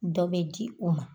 Dɔ bɛ di u ma.